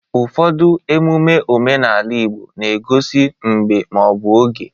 Ụfọdụ emume omenala Igbo na-egosi mgbe ma ọ bụ oge.